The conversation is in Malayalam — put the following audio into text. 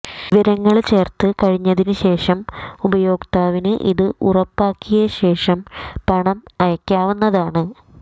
വിവരങ്ങള് ചേര്ത്ത് കഴിഞ്ഞതിന് ശേഷം ഉപയോക്താവിന് ഇത് ഉറപ്പാക്കിയ ശേഷം പണം അയക്കാവുന്നതാണ്